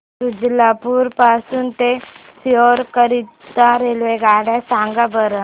शुजालपुर पासून ते सीहोर करीता रेल्वेगाड्या सांगा बरं